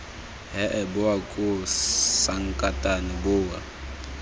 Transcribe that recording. hee bowa koo sankatane bowa